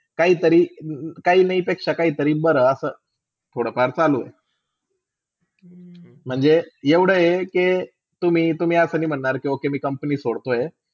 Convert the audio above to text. काहितरी -काहीनही ते सकाळी तर दिसभर थोडा फार चालू. महण्जे एवडे हाय के तुम्ही -तुम्ही हा कधी महण्णार कि कवा company सोडतोय.